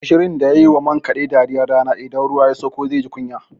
Gushirun da ya yi wa man kaɗe dariyar rana, idan ruwa ya sakko zai ji kunya.